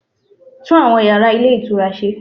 Tún àwọn yàrá Ilé Ìtura se